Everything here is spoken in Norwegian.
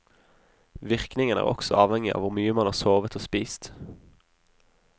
Virkningen er også avhengig av hvor mye man har sovet og spist.